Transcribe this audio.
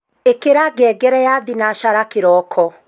ikira ngengere ya thinashara kiroko